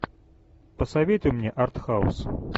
посоветуй мне артхаус